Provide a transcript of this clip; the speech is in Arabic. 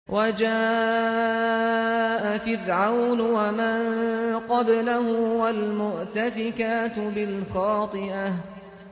وَجَاءَ فِرْعَوْنُ وَمَن قَبْلَهُ وَالْمُؤْتَفِكَاتُ بِالْخَاطِئَةِ